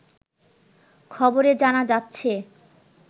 খবরে জানা যাচ্ছে